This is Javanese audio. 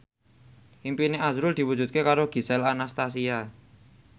impine azrul diwujudke karo Gisel Anastasia